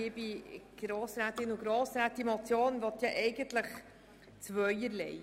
Diese Motion möchte zwei Dinge erreichen: